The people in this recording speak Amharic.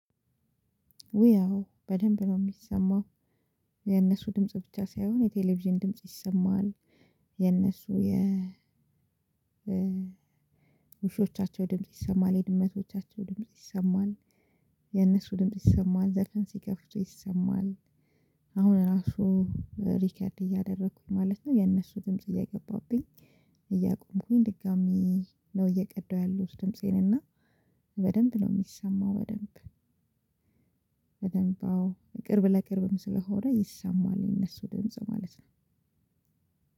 ውይ አዎ በደንብ ነው የሚሰማው የነሱ ድምጽ ብቻ ሳይሆን የቴሌቪዥን ድምጽ ይሰማል። የነሱ የ ውሾቻቸው ድምጽ ይሰማል የድመቶቻቸው ድምጽ ይሰማል። የእነሱ ድምጽ ይሰማል ዘፈን ሲከፍቱ ይሰማል። አሁን ራሱ ሪከርድ እያደረኩኝ ማለት ነው። የነሱ ድምጽ እየገባብኝ እያቆምኩኝ ድጋሚ ነው እየቀዳሁ ያሉት ድምፄን እና በደንብ ነው የሚሰማው። በደንብ አዎ ቅርብ ለቅርብም ስለሆነ ይሰማል የነሱ ደምፅ ማለት ነው።